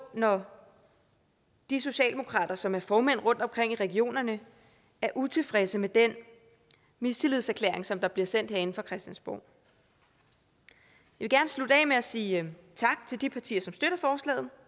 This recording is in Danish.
når de socialdemokrater som er formænd rundtomkring i regionerne er utilfredse med den mistillidserklæring som der bliver sendt herinde fra christiansborg jeg vil gerne slutte af med at sige tak til de partier som støtter forslaget